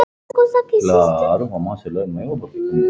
Hvað hefur hann fiskað?